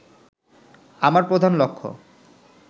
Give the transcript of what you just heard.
আমার প্রধান লক্ষ্য